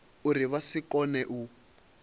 uri vha si kone u